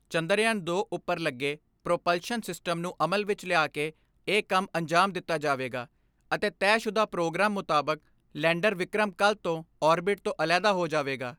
ਚੰਦਰਯਾਨ ਦੋ ਉੱਪਰ ਲੱਗੇ ਪ੍ਰੋਪਲਸ਼ਨ ਸਿਸਟਮ ਨੂੰ ਅਮਲ ਵਿਚ ਲਿਆ ਕੇ ਇਹ ਕੰਮ ਅੰਜਾਮ ਦਿੱਤਾ ਜਾਵੇਗਾ ਅਤੇ ਤੈਅਸ਼ੁਦਾ ਪ੍ਰੋਗਰਾਮ ਮੁਤਾਬਕ ਲੈਂਡਰ ਵਿਕ੍ਰਮ ਕੱਲ੍ਹ ਤੋਂ ਆਰਬਿਟਰ ਤੋਂ ਅਲੇਹਦਾ ਹੋ ਜਾਵੇਗਾ।